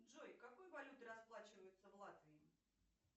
джой какой валютой расплачиваются в латвии